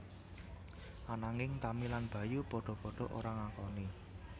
Ananging Tami lan Bayu padha padha ora ngakoni